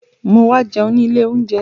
Mo wá jẹun ní ilé oúnjẹ